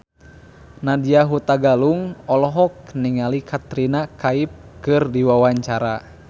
Nadya Hutagalung olohok ningali Katrina Kaif keur diwawancara